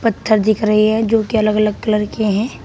पत्थर दिख रहे हैं जोकि अलग अलग कलर के हैं।